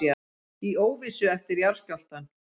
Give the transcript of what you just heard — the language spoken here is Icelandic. Í óvissu eftir jarðskjálftann